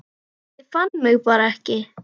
Ég fann mig bara ekki.